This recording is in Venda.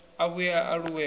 a vhuye a aluwe ho